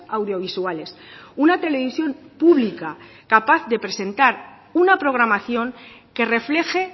audiovisuales una televisión pública capaz de presentar una programación que refleje